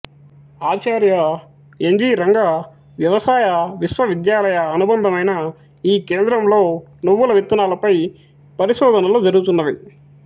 ఆచార్య N G Ranga వ్యవసాయ విశ్వవిద్యాలయ అనుభందమైన ఈ కేంద్రంలో నువ్వుల విత్తనాల పై పరిశోధనలు జరుగుచున్నవి